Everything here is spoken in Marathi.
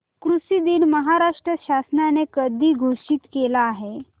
कृषि दिन महाराष्ट्र शासनाने कधी घोषित केला आहे